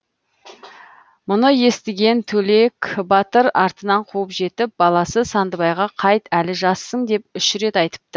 мұны естіген төлек батыр артынан қуып жетіп баласы сандыбайға қайт әлі жассың деп үш рет айтыпты